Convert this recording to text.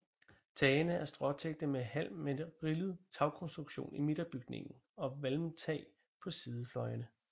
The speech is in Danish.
Tagene er stråtækte med halm med rillet tagkonstruktion i midterbygningen og valmtag på sidefløjene